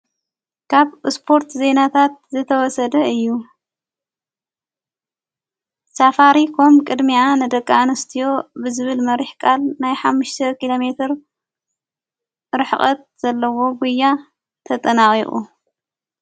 ካብ እስጶርት ዘይናታት ዝተወሰደ እዩ ሳፋሪ ኾም ቅድሚኣ ነደቃኣንስትዮ ብዝብል መሪሕ ቃል ናይ ሓሙሽተ ኪሎ ሜር ርኅቐት ዘለዎ ጕያ ተጠናዊቑ።